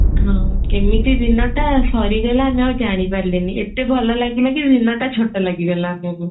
ହଁ କେମିତି ଦିନଟା ସରିଗଲା ଆମେ ଆଉ ଜାଣି ପାରିଲୁନିଏତେ ଭଲ ଲାଗିଲା କି ଦିନଟା ଛୋଟ ଲାଗିଗଲା ଆମକୁ